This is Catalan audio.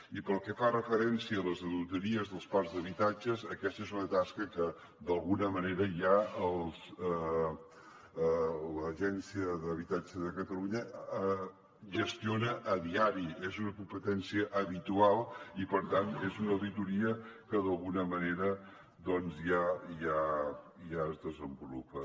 i pel que fa referència a les auditories dels parcs d’habitatges aquesta és una tasca que d’alguna manera ja l’agència de l’habitatge de catalunya gestiona a diari és una competència habitual i per tant és una auditoria que ja es desenvolupa